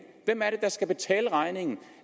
hvem er det der skal betale regningen